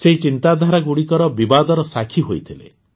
ସେହି ଚିନ୍ତାଧାରାଗୁଡ଼ିକର ବିବାଦର ସାକ୍ଷୀ ହୋଇଥିଲେ